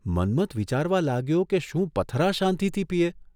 મન્મથ વિચારવા લાગ્યો કે શું પથરા શાંતિથી પીએ !